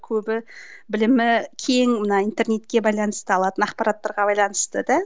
көбі білімі кең мына интернетке байланысты алатын ақпараттарға байланысты да